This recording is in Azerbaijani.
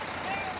Nə gəlir?